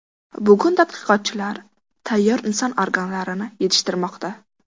Bugun tadqiqotchilar tayyor inson organlarini yetishtirmoqda.